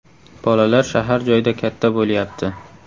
Bolalar shahar joyda katta bo‘lyapti.